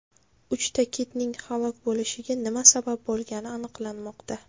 Uchta kitning halok bo‘lishiga nima sabab bo‘lgani aniqlanmoqda.